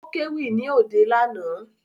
Ó kéwì ní òde lánàá